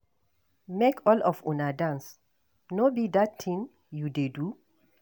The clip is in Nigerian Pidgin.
Make all of una dance ,no be dat thing you dey do